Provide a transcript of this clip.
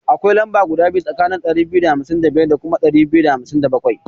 Akwai lamba biyu tsakanin ɗari biyu da hamsin da biyar da ɗari biyu da hamsin da bakwai.